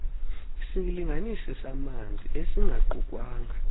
isilinganisi samanzi esingaqukwanga